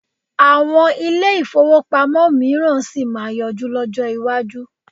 Àwọn ilé-ìfowópamọ́ mìíràn sì máa yọjú lọ́jọ́ iwájú.